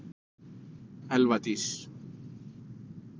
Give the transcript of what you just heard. Elva Dís.